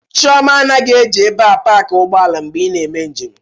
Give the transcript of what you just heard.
Chioma anaghị eji ebe a paki ụgbọala mgbe ị na-eme njem.